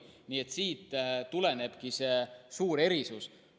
Nii et siit tulenebki see suur erisus.